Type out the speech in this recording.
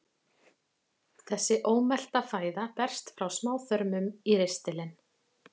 Þessi ómelta fæða berst frá smáþörmum í ristilinn.